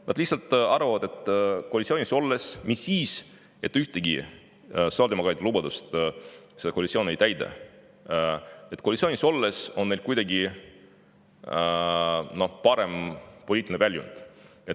Nad lihtsalt arvavad, et koalitsioonis olles – mis siis, et ühtegi sotsiaaldemokraatide lubadust see koalitsioon ei täida – on neil kuidagi parem poliitiline väljund.